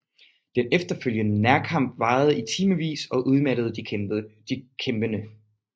Den efterfølgende nærkamp varede i timevis og udmattede de kæmpende